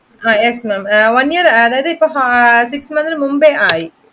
Yes ma'am one year അതായത് ക്രിസ്റ്മസിന് മുമ്പേ ആയി